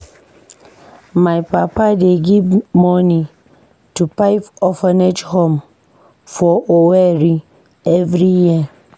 My papa dey give moni to five orphanage home for Owerri every year.